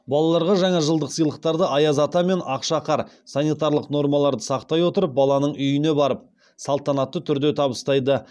балаларға жаңа жылдық сыйлықтарды аяз ата мен ақшақар санитарлық нормаларды сақтай отырып баланың үйіне барып салтанатты түрде табыстайды